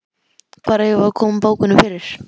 Hvar eigum við að koma bókunum fyrir?